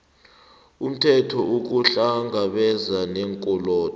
umthelo ukuhlangabezana neenkolodo